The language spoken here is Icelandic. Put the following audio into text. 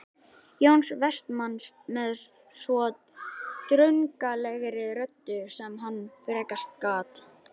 Jóns Vestmanns með svo drungalegri röddu sem hann frekast gat